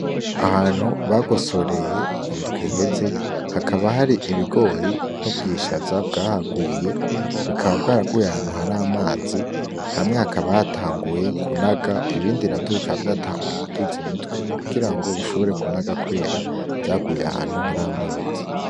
Ahantu bagosoreye mu ndwi iheze hakaba hari ibigori n'ubwishaza bwahaguye bikaba bwaraguye hantu hari amazi hamwe hakaba hatanguye kunaga ibindi na vyo bikaba vyatanguye kuduza imitwe kugira ngo bishobore kunaga kubera vyaguye hantu hari amazi.